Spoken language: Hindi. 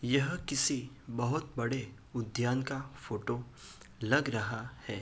यह किसी बहोत बड़े उद्यान का फोटो लग रहा है।